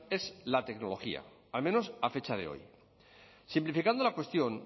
es la tecnología al menos a fecha de hoy simplificando la cuestión